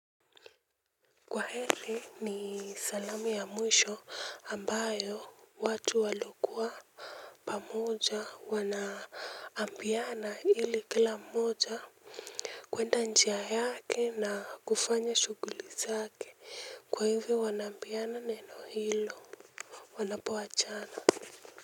Kwaheli ni salamu ya mwisho ambayo watu waliokuwa pamoja wanaambiana ili kila mmoja kwenda njia yake na kufanya shuguli zake kwa hivyo wanaambiana neno hilo wanapo achana.